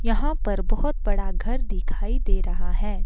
यहां पर बहोत बड़ा घर दिखाई दे रहा है।